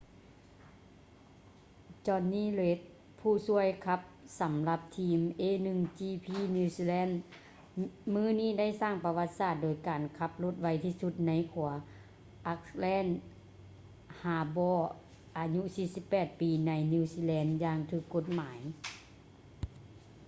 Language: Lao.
jonny reid ຜູ້ຊ່ວຍຂັບສຳລັບທີມ a1gp new zealand ມື້ນີ້ໄດ້ສ້າງປະຫວັດສາດໂດຍການຂັບລົດໄວທີ່ສຸດໃນຂົວ auckland harbourອາຍຸ 48 ປີ ໃນ new zealand ຢ່າງຖືກກົດໝາຍ